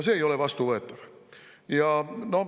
See ei ole vastuvõetav.